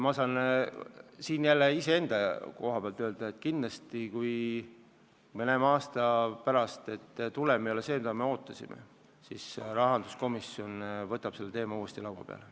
Ma saan siin küll vaid iseenda nimel öelda, et kui me näeme aasta pärast, et tulem ei ole see, mida me ootasime, siis rahanduskomisjon võtab selle teema uuesti laua peale.